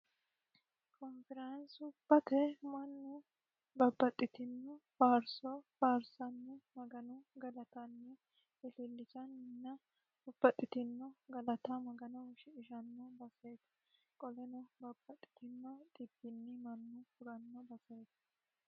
konfiraansubate mannu babbaxxitinno faarsoo faarsanni magano galatanni ilillisannina babbaxitino galata maganoho shiqishanno baseeti qoleno babaxitinno dhibbinni mannu huranno basreeti